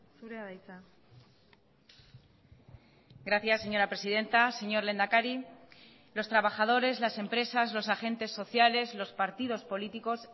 zurea da hitza gracias señora presidenta señor lehendakari los trabajadores las empresas los agentes sociales los partidos políticos